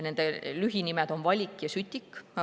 Nende lühinimed on VALIK ja SÜTIK.